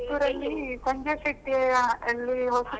Puttur ಲ್ಲಿ ಸಂಜೀವ ಶೆಟ್ಟಿಯ~ ಯಲ್ಲಿ ಹೊಸತು .